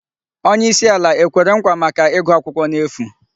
Onye isi ala ekwere nkwa maka igu akwukwo n'efu?